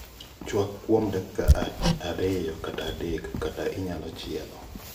Chwak kuom dakika ariyo kata adek kata inyalo chiele